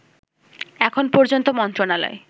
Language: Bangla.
এখন পর্যন্ত মন্ত্রণালয়